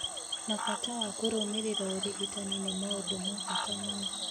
na bata wa kũrũmĩrĩra ũrigitani nĩ maũndũ ma bata mũno.